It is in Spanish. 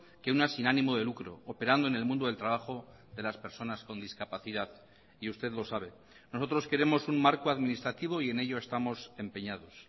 que una sin ánimo de lucro operando en el mundo del trabajo de las personas con discapacidad y usted lo sabe nosotros queremos un marco administrativo y en ello estamos empeñados